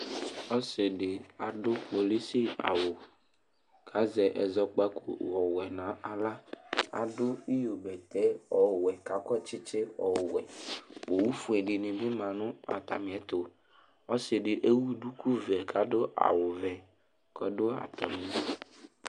Ɔsi ɖɩ aɖu kpolɩsɩ awu, kazɛ ɛzɔkpaku ɔwɛ naɣla Aɖu ɩyo bɛtɛ ɔwɛ kakɔ tsɩtsɩɛ ɔwɛ Owu foe ɖɩnɩ bɩ ma nu atamɩ ɛtu Ɔsɩ ɖɩ ewu ɖuku vɛ kaɖu awu vɛ kɔɖu atami